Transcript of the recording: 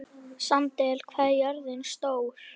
Sandel, hvað er jörðin stór?